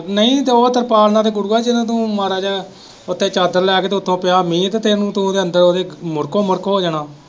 ਨਹੀਂ ਤੇ ਉਹ ਤਰਪਾਲ ਨਾਲ ਤੇ ਗੁਰੂਆ ਜਿਵੇ ਤੂੰ ਮਾੜਾ ਜਿਹਾ ਉੱਤੇ ਚਾਦਰ ਲੈ ਕੇ ਤੇ ਉੱਤੋਂ ਪਿਆ ਮੀਂਹ ਤੇ ਤੂੰ ਉਹਦੇ ਅੰਦਰ ਮੁੜਕੋ ਮੁੜਕ ਹੋ ਜਾਣਾ।